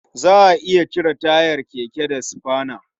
Za a iya cire tayar keke da sufana.